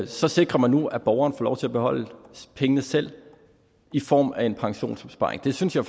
så sikrer man nu at borgeren får lov til at beholde pengene selv i form af en pensionsopsparing det synes jeg